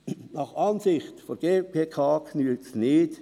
Nach Ansicht der GPK genügt es nicht.